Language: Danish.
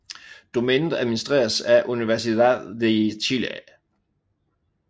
Domænet administreres af Universidad de Chile